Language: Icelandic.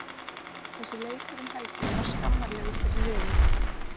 Þessi leikur um helgina var skammarlegur fyrir liðið.